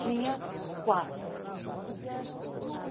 Tinha quatro.